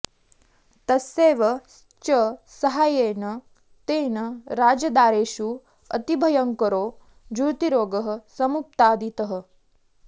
तस्यैव च साहाय्येन तेन राजदारेषु अतिभयङ्करो जूर्तिरोगः समुत्पादितः